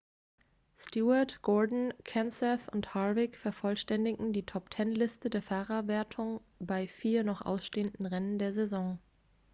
stewart gordon kenseth and harvick vervollständigen die top-ten-liste der fahrerwertung bei vier noch ausstehenden rennen der saison